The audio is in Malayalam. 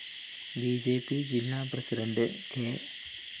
ബി ജെ പി ജില്ലാ പ്രസിഡണ്ട് കെ